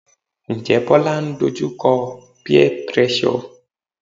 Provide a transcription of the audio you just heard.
Njẹ́ Bola ń dojú kọ peer pressure?